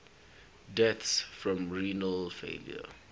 deaths from renal failure